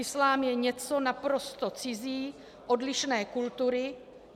Islám je něco naprosto cizí, odlišné kultury.